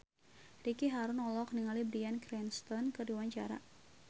Ricky Harun olohok ningali Bryan Cranston keur diwawancara